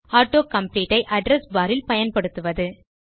auto complete ஐ address bar இல் பயன்படுத்துவது